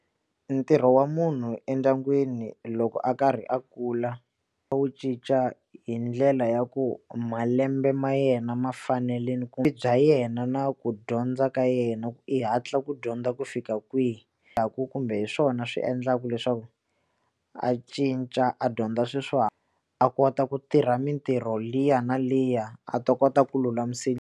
Ntirho wa munhu endyangwini loko a karhi a kula a wu cinca hi ndlela ya ku malembe ma yena ma fanele ku vutomi bya yena na ku dyondza ka yena i hatla ku dyondza ku fika kwihi kumbe hi swona swi endlaka leswaku a cinca a dyondza a kota ku tirha mitirho liya na liya a ta kota ku .